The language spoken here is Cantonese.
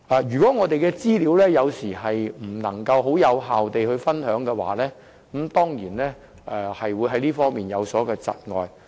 如果我們的資料無法有效分享，當然在這方面會有所窒礙。